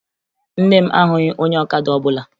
Nne m ahụghị onye ọkada ọbụla